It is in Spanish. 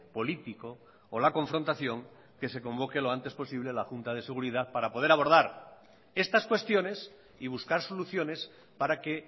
político o la confrontación que se convoque lo antes posible la junta de seguridad para poder abordar estas cuestiones y buscar soluciones para que